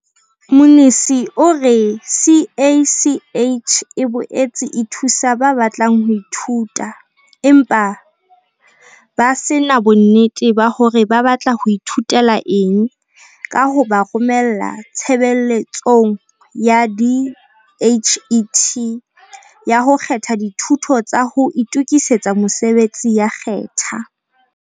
Mnisi o re CACH e boetse e thusa ba batlang ho ithuta empa ba se na bonnete ba hore ba batla ho ithutela eng ka ho ba romela Tshebeletsong ya DHET ya ho kgetha Dithuto tsa ho Itokisetsa Mosebetsi ya Khetha.